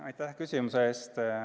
Aitäh küsimuse eest!